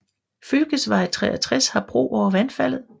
Fylkesvei 63 har bro over vandfaldet